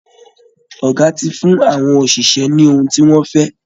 Ọ̀gá ti fún àwọn òṣìṣẹ́ ní ohun tí wọ́n fẹ́